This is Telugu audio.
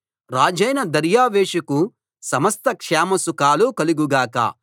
రాజైన దర్యావేషుకు సమస్త క్షేమ సుఖాలు కలుగు గాక